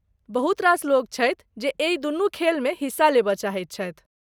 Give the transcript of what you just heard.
बहुत रास लोक छथि जे एहि दुनू खेलमे हिस्सा लेबय चाहैत छथि।